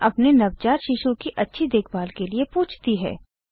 और अपने नवजात शिशु की अच्छी देखभाल के लिए पूछती है